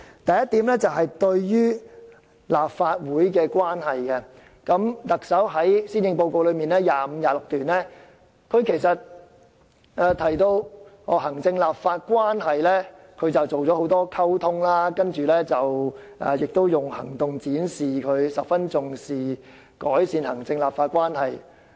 第一，對於與立法會的關係，特首在施政報告第25和26段提及，她就行政立法關係進行了很多溝通，並且用行動展示她十分重視改善行政立法關係。